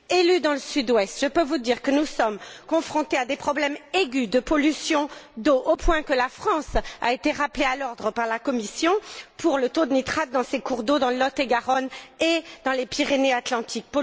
Élue dans le Sud Ouest, je peux vous dire que nous sommes confrontés à des problèmes aigus de pollution d'eau, au point que la France a été rappelée à l'ordre par la Commission pour le taux de nitrate dans ses cours d'eau dans le Lot et Garonne et dans les Pyrénées Atlantiques.